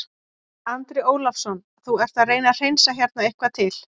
Andri Ólafsson: Þú ert að reyna að hreinsa hérna eitthvað til?